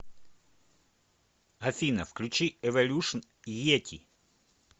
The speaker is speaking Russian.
афина включи эволюшн йети